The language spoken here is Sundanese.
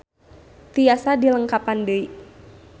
Tiasa dilengkepan deui.